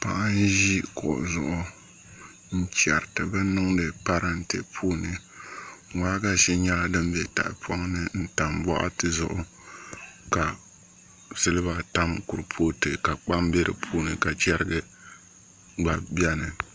Paɣa n ʒi kuɣu zuɣu n chɛriti bin niŋdi parantɛ puuni waagashe nyɛla din bɛ tahapoŋ ni n tam boɣati zuɣu ka silba tam kuripooti ka kpam bɛ di puuni ka chɛrigi gba bɛni